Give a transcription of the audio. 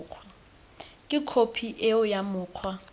ke khophi eo ya mokgwa